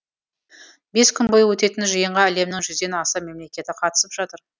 бес күн бойы өтетін жиынға әлемнің жүзден аса мемлекеті қатысып жатыр